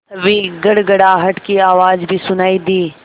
तभी गड़गड़ाहट की आवाज़ भी सुनाई दी